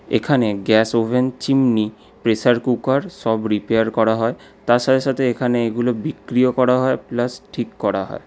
এখানে gas oven chimney pressure cooker সব repair করা হয় তার সাথে সাথে এখানে এগুলো বিক্রিও করা হয় প্লাস ঠিক করা হয়।